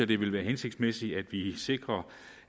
det ville være hensigtsmæssigt at vi sikrer